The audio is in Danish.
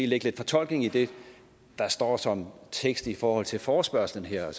lægge lidt fortolkning i det der står som tekst i forhold til til forespørgslen her